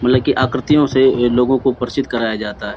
मतलब की आकृतियों से लोगो को परचित कराया जाता है ।